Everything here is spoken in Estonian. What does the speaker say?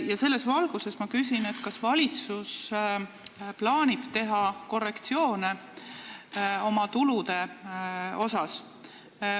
Ja selles valguses ma küsin, kas valitsus plaanib teha korrektsioone oma tulude laekumise prognoosis.